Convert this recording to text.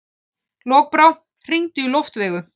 Lokbrá, hringdu í Loftveigu.